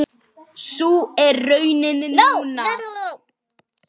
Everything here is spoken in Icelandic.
Sú er raunin núna.